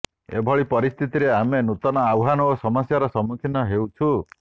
ଏଭଳି ପରିସ୍ଥିତିରେ ଆମେ ନୂତନ ଆହ୍ବାନ ଓ ସମସ୍ୟାର ସମ୍ମୁଖୀନ ହେଉଛୁ